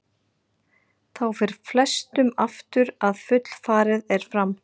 Þá fer flestum aftur að fullfarið er fram.